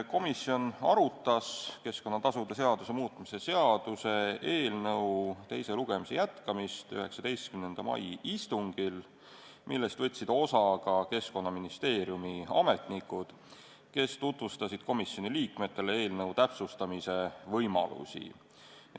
Komisjon arutas keskkonnatasude seaduse muutmise seaduse eelnõu teise lugemise jätkamist 19. mai istungil, millest võtsid osa ka Keskkonnaministeeriumi ametnikud, kes tutvustasid komisjoni liikmetele eelnõu täpsustamise võimalusi.